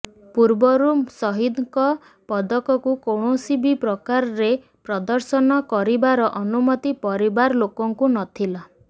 ପୂର୍ବରୁ ସହିଦଙ୍କ ପଦକକୁ କୌଣସି ବି ପ୍ରକାରେ ପ୍ରଦର୍ଶନ କରିବାର ଅନୁମତି ପରିବାର ଲୋକଙ୍କୁ ନ ଥିଲା